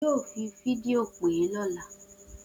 O yoo fidio pe rẹ ọla!